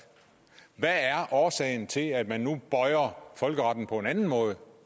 hvad er årsagen til at man nu bøjer folkeretten på en anden måde